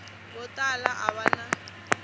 vo tala a va na